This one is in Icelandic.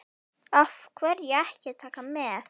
Af hverju ekki Taka með?